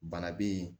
Bana be yen